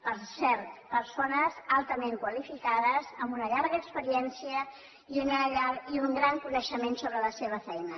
per cert persones altament qualificades amb una llarga experiència i un gran coneixement sobre la seva feina